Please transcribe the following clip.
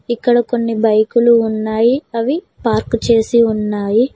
ఇక్కడ కొన్ని బైకులు ఉన్నాయి అవి పార్క్ చేసి ఉన్నాయి.